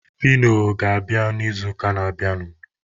Fino ga-abịa n'izuụka na-abịanụ.